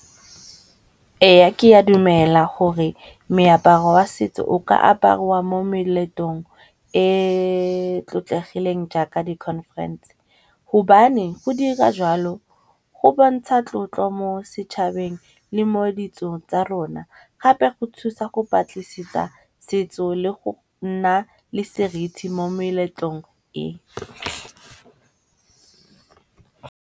Eya, ke a dumela gore meaparo wa setso o ka apariwa mo meletong e e tlotlegileng jaaka di-conference. hobane go dira jalo go bontsha tlotlo mo setšhabeng le mo ditso tsa rona, gape go thusa go batlisisitsa setso le go nna le seriti mo meletlong e.